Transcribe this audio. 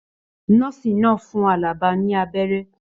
Nọ́ọ́sì náà fún Alaba ní abẹ́rẹ́.